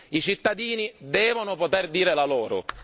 I cittadini devono poter dire la loro.